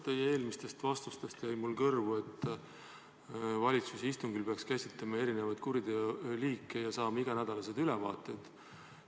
Teie eelmistest vastustest jäi mulle kõrvu, et valitsuse istungil peaks käsitlema erinevaid kuriteoliike ja saama iganädalasi ülevaateid.